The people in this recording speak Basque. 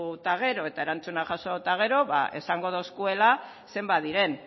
eta gero eta erantzuna jaso eta gero ba esango dozkuela zenbat diren